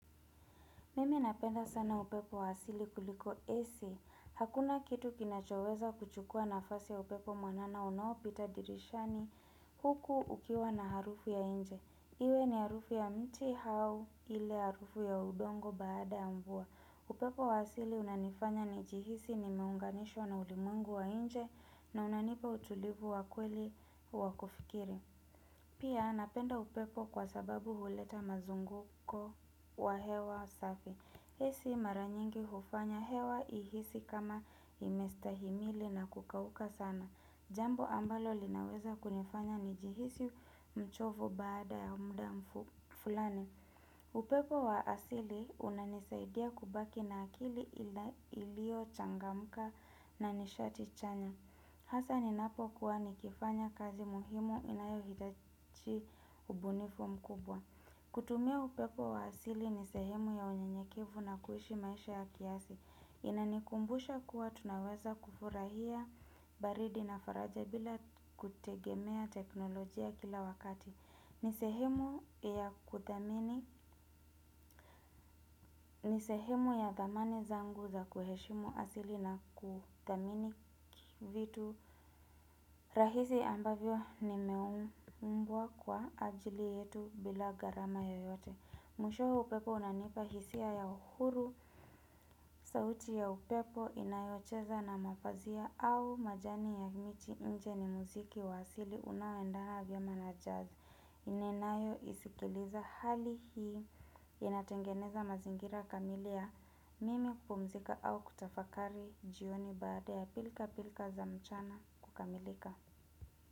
Mimi napenda sana upepo wa asili kuliko AC. Hakuna kitu kinachoweza kuchukua nafasi upepo mwanana unAopita dirishani huku ukiwa na harufu ya nje. Iwe ni harufu ya mti au ile harufu ya udongo baada YA mvua. Upepo wa asili unanifanya nijihisi nimeunganishwa na ulimwengu wa nje na unanipa utulivu wa kweli wa kufikiri. Pia napenda upepo kwa sababu huleta mazunguko wa hewa safi. AC mara nyingi hufanya hewa ihisi kama imestahimili na kukauka sana. Jambo ambalo linaweza kunifanya nijihisi mchovu baada ya muda fulani. Upepo wa asili unanisaidia kubaki na akili iliyo changamka na nishati chanya. Hasa ninapo kuwa nikifanya kazi muhimu inayohitaji ubunifu mkubwa. Kutumia upepo wa asili ni sehemu ya unyenyekevu na kuishi maisha ya kiasi Inanikumbusha kuwa tunaweza kufurahia baridi na faraja bila kutegemea teknolojia kila wakati ni sehemu ya kudhamini, ni sehemu ya dhamani zangu za kuheshimu asili na kudhamini vitu rahisi ambavyo nimeumbwa kwa ajili yetu bila gharama yoyote Mwishowe upepo unanipa hisia ya uhuru, sauti ya upepo inayocheza na mapazia au majani ya miti nje ni muziki wasili unaoendana vyema na jazz. Ninanayoisikiliza hali hii, inatengeneza mazingira kamili ya mimi kupumzika au kutafakari jioni baada ya pilka pilka za mchana kukamilika.